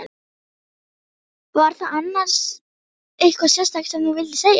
Var það annars eitthvað sérstakt sem þú vildir segja?